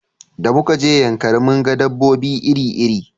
Da muka je yankari mun ga dabobbi iri iri